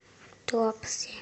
туапсе